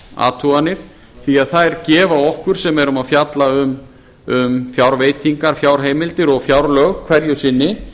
athuganir því þær gefa okkur sem erum að fjalla um fjárveitingar fjárheimildir og fjárlög hverju sinni